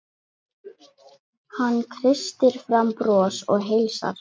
Hann kreistir fram bros og heilsar.